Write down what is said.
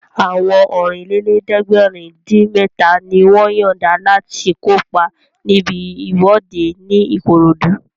Àwọn Ọ̀rìnlélẹ̀ẹ́dẹ́gbèrin-dín-mẹ́ta ni wọ́n yọ̀nda láti kópa níbi ìwọ́de ní Ìkòròdú